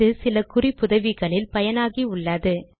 இது சில குறிப்புதவிகளில் பயனாகி உள்ளது